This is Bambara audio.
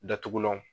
Datugulanw